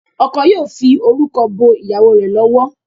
Oko yíò fí orúkọ bó ìyàwó rẹ lọwọ.